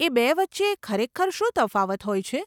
એ બે વચ્ચે ખરેખર શું તફાવત હોય છે?